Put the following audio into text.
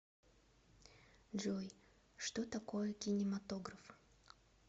джой что такое кинематограф